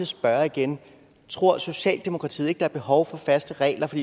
spørge igen tror socialdemokratiet ikke der er behov for faste regler for